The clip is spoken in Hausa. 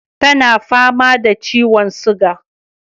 Tana fama da ciwon suga